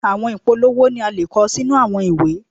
Àwọn ìpolówó ni a le kọ sínú àwọn ìwé.